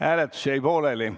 Hääletus jäi pooleli.